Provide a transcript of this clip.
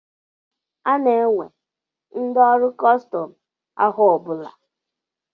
Ana-ewe ndị ọrụ kọstọm afọ ọ bụla.